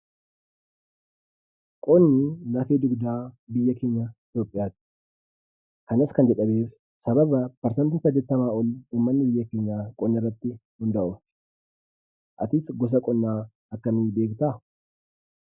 Qonni lafee dugdaa biyyaa keenyaa Itoophiyaati. Kanas kan jedhameef sababa persantiin saddetamaa ol qonna irratti hundaa'uuf. Atis gosa qonnaa akkamiin beektaa?